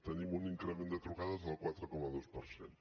tenim un increment de trucades del quatre coma dos per cent